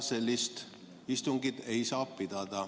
Sellist istungit ei saa pidada.